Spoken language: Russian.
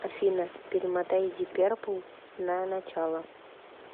афина перемотай диперпл на начало